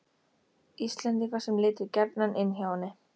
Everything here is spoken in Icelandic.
Íslendinga sem litu gjarnan inn hjá henni.